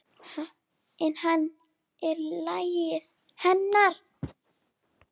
En hann er lífæð hennar.